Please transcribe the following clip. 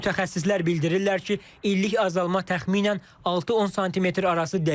Mütəxəssislər bildirirlər ki, illik azalma təxminən 6-10 sm arası dəyişir.